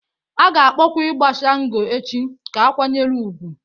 A ga-akpọkwa ịgbà Shango echi ka a kwanyere ugwu.